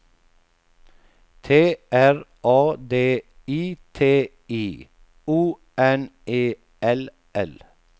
T R A D I T I O N E L L